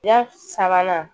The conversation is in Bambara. Ya sabanan